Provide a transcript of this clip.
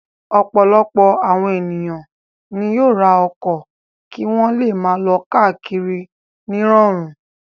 Ọ̀pọ̀lọpọ̀ àwọn ènìyàn ni yóò ra ọkọ̀ kí wọ́n le máa lọ káàkiri nírọ̀rùn.